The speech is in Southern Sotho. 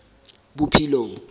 bophelong